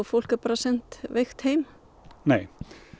fólk er bara sent veikt heim nei